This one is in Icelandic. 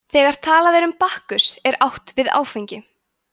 þegar talað er um bakkus er átt við áfengi